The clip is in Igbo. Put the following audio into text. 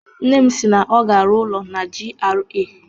Nne m si na ọ ga-arụ ụlọ na GRA.